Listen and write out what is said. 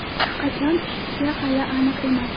Qachon tushishi hali aniq emas.